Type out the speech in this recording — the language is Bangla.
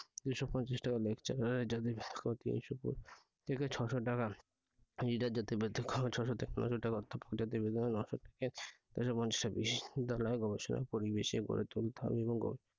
যেসকল তিনশত থেকে ছয়শ টাকা ছয়শ থেকে নয়শ টাকা বিশ্ববিদ্যালয়ে গবেষণার পরিবেশ গড়ে তুলতে হবে এবং